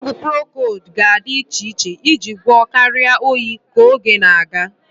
Ọgwụ procold ga-adị iche iche iji gwọọ karịa oyi ka oge na-aga.